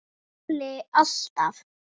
Palli alltaf.